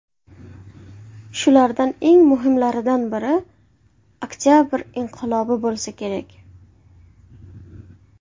Shulardan eng muhimlaridan biri Oktabr inqilobi bo‘lsa kerak.